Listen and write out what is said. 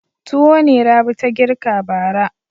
Tuwo ne Rabi ta girka bara.